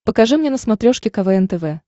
покажи мне на смотрешке квн тв